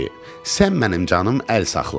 Sən mənim canım əl saxla.